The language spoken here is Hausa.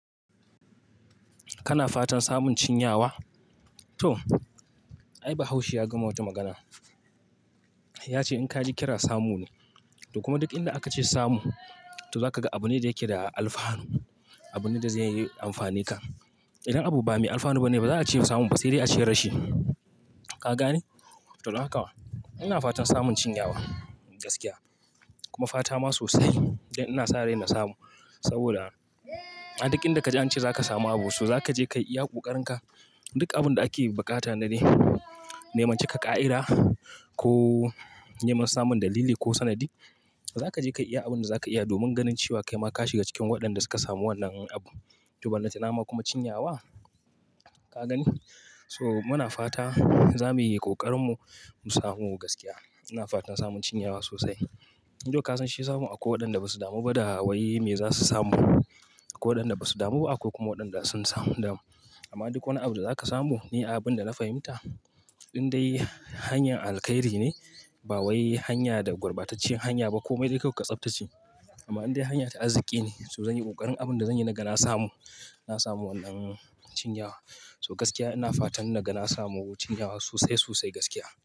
Kana fatan samun cinyawa? To, ai Bahaushe ya gama wata magana. Ya ce in ka ji kira samu ne. Toh kuma duk inda ake ce samu yo zaka ga abune da yake da alfahnu abune da zai amfane ka. Idan abu ba mai alfanu ba ne, ba za a ce samu ba, sai dai a ce rashi. Ka gane? To, dan haka. Ina fatan samun cinyawa gaskiya kuma fata ma sosai. Dan ina sarai mu samu saboda a duk inda ka je an ce za ka samu abu, so za ka je kayi iya ƙokarin ka. Duk abin da ake buƙata na neman cika ƙa'ida ko neman samun dalili ko sanadi. Za ka je ka yi iya abin da za ka iya domin ganin cewa kai ma ka shiga cikin waɗanda suka samu wannan abu. To, balatanama kuma cinyawa. Ka gani? Toh mana fatan za mu yi ƙoƙarin mu, mu samo gaskiya. Ina fatan samun cinyawa sosai. Thou kasan shi samun akwai wadanda basu damu ba da wai me zasu samu akwai wadanda basu damu bah akwai wadanda sun damu amma duk wani abu da za ka samu ne abin da na fahimta, indai hanyar alkairi ne ba wai hanya da gurbatacciyar hanya ba komai dai kawai ka tsaftace. Amma indai hanya ta azziki ne, so zanyi kokarin abin da zanyi naga na samu. Na samu wannan cinyawa. So gaskiya ina fatan naga na samu cinyawa sosai, sosai gaskiya.